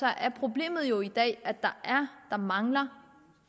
er problemet jo i dag at der mangler